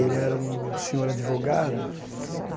Ele era um senhor advogado.